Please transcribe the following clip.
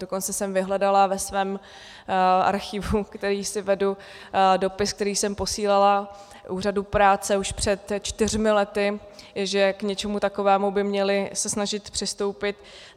Dokonce jsem vyhledala ve svém archivu, který si vedu, dopis, který jsem posílala Úřadu práce už před čtyřmi lety, že k něčemu takovému by se měli snažit přistoupit.